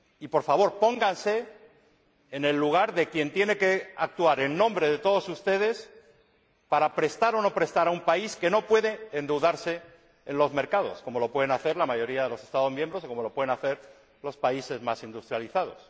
Por favor, pónganse en el lugar de quien tiene que actuar en nombre de todos ustedes para prestar o no prestar a un país que no puede endeudarse en los mercados como lo pueden hacer la mayoría de los Estados miembros o como lo pueden hacer los países más industrializados.